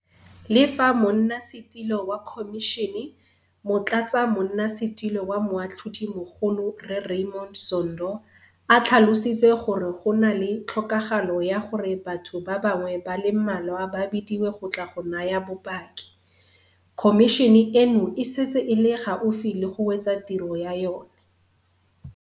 Le fa Monnasetulo wa Khomišene, Motlatsamonna setulo wa Moatlhodimogolo Rre Raymond Zondo a tlhalositse gore go na le tlhokagalo ya gore batho ba bangwe ba le mmalwa ba bidiwe go tla go naya bopaki, khomišene eno e setse e le gaufi le go wetsa tiro ya yona.